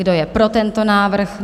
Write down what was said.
Kdo je pro tento návrh?